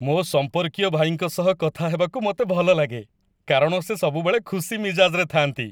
ମୋ ସମ୍ପର୍କୀୟ ଭାଇଙ୍କ ସହ କଥା ହେବାକୁ ମୋତେ ଭଲଲାଗେ, କାରଣ ସେ ସବୁବେଳେ ଖୁସି ମିଜାଜରେ ଥାଆନ୍ତି।